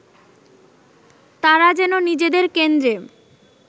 তারা যেন নিজেদের কেন্দ্রে